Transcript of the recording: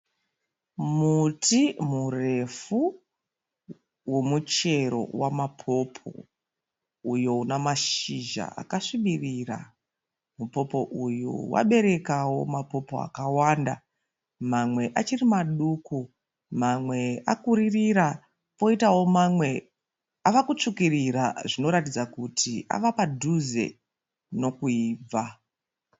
Muti murefu womuchero wamapopo uyo una mashizha akasvibirira. Mupopo uyu waberekawo mapopo akawanda, mamwe achiri maduku, mamwe akuririra poitawo mamwe ava kutsvukirira zvinoratidza kuti ava padhuze nekuibva